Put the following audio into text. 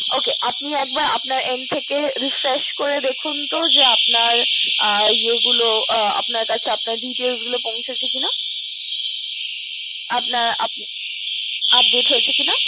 Ok আপনি একবার আপনার end থেকে refresh করে দেখুন তো যে আপনার details গুলো পৌঁছেছে কিনাপনার update হয়েছে কিনা